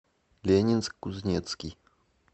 ленинск кузнецкий